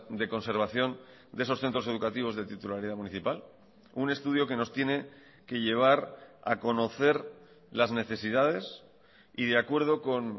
de conservación de esos centros educativos de titularidad municipal un estudio que nos tiene que llevar a conocer las necesidades y de acuerdo con